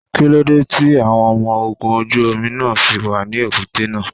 Kíló dé tí àwọn ọmọ ogun ojú omi náà fi wà ní èbúté náà?